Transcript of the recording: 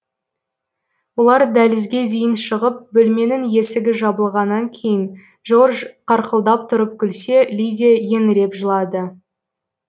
олар дәлізге дейін шығып бөлменің есігі жабылғаннан кейін жорж қарқылдап тұрып күлсе лидиа еңіреп жылады